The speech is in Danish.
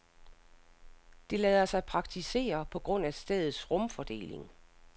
Det lader sig praktisere på grund af stedets rumfordeling.